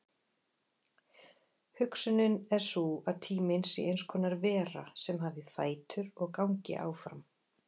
Hugsunin er sú að tíminn sé eins konar vera sem hafi fætur og gangi áfram.